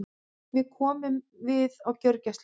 Við komum við á gjörgæslunni.